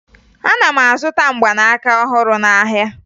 Ana m azụta mgbanaka ọhụrụ n'ahịa